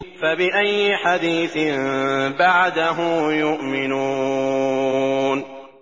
فَبِأَيِّ حَدِيثٍ بَعْدَهُ يُؤْمِنُونَ